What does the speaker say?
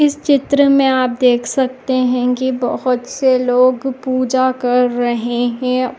इस चित्र में आप देख सकते है की बहुत से लोग पूजा कर रहे है।